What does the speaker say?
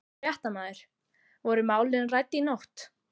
Fréttamaður: Voru málin rædd í nótt?